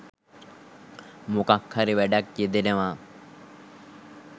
මොකක් හරි වැඩක් යෙදෙනවා